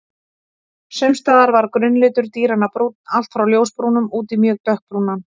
Sums staðar var grunnlitur dýranna brúnn, allt frá ljósbrúnum út í mjög dökkbrúnan.